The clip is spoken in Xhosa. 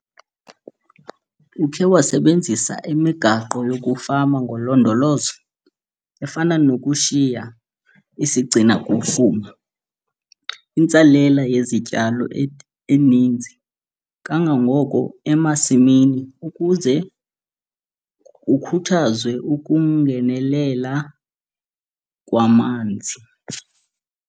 Ukhe wasebenzisa imigaqo yokufama ngolondolozo, efana nokushiya, isigcina-kufuma, intsalela yezityalo eninzi kangangoko emasimini ukuze kukhuthazwe ukungenelela kwamanzi?